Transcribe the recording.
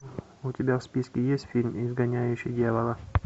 у тебя в списке есть фильм изгоняющий дьявола